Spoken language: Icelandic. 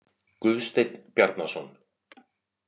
Guðsteinn Bjarnason.